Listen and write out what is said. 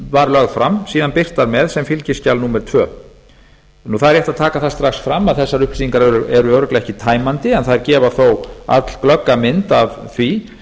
var lögð fram síðan birtar með sem fylgiskjal númer annað það er rétt að taka það strax fram að þessar upplýsingar eru örugglega ekki tæmandi en þær gefa þó allglögga mynd af því